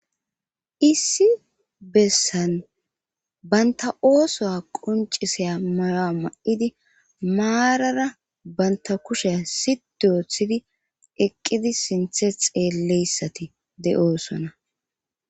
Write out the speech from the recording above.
issi bessan banta oosoa qoncisaya mayoa ma7idi maarara banta kusheya sidiyooththidi eqqidi sinthe xeelleyssati de7oosona